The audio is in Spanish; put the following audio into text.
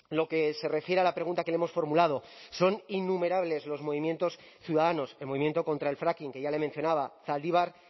lo que se refiere a la pregunta que le hemos formulado son innumerables los movimientos ciudadanos el movimiento contra el fracking que ya le mencionaba zaldibar